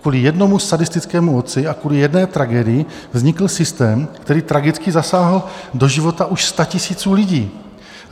Kvůli jednomu sadistickému otci a kvůli jedné tragédii vznikl systém, který tragicky zasáhl do života už statisíců lidí.